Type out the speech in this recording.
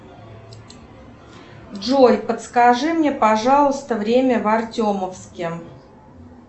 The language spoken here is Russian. джой подскажи мне пожалуйста время в артемовске